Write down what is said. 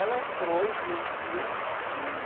Ela entrou e viu o filme.